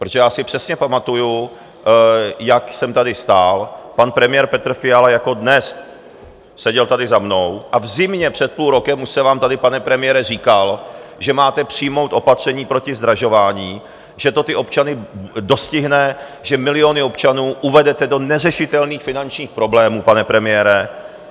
Protože já si přesně pamatuji, jak jsem tady stál, pan premiér Petr Fiala jako dnes seděl tady za mnou, a v zimě před půl rokem už jsem vám tady, pane premiére, říkal, že máte přijmout opatření proti zdražování, že to ty občany dostihne, že miliony občanů uvedete do neřešitelných finančních problémů, pane premiére.